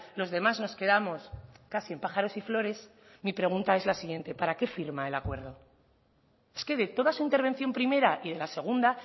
los demás nos quedamos casi en pájaros y flores mi pregunta es la siguiente para qué firma el acuerdo es que de toda su intervención primera y de la segunda